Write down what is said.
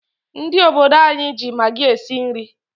Ndị obodo anyị ji magi esi nri.